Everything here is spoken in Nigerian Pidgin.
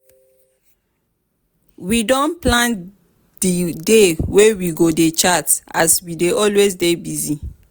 we don plan di dey wey we go dey chat as we dey always dey busy.